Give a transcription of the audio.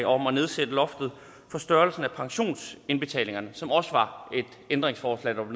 om at nedsætte loftet for størrelsen af pensionsindbetalingerne så også var et ændringsforslag